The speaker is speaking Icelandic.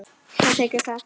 Hann þiggur það.